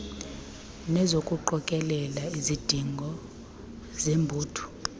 nezokuqokelela izidingo zebutho